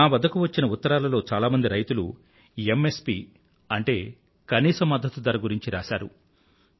నా వద్దకు వచ్చిన ఉత్తరాలలో చాలా మంది రైతులు ఎంఎస్పీఎంఎస్పీ అంటే కనీస మద్దతు ధర గురించి రాశారు